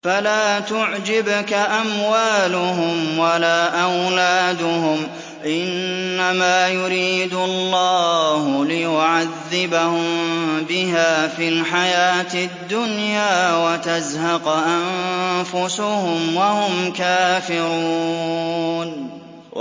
فَلَا تُعْجِبْكَ أَمْوَالُهُمْ وَلَا أَوْلَادُهُمْ ۚ إِنَّمَا يُرِيدُ اللَّهُ لِيُعَذِّبَهُم بِهَا فِي الْحَيَاةِ الدُّنْيَا وَتَزْهَقَ أَنفُسُهُمْ وَهُمْ كَافِرُونَ